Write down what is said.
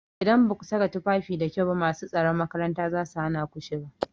Idan baku saka tufafi da kyau ba masu tsaron makaranta zasu hana ku shiga.